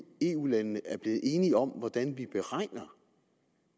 eu landene er blevet enige om hvordan vi beregner